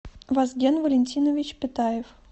вазген валентинович питаев